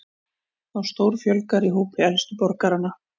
Þá stórfjölgar í hópi elstu borgaranna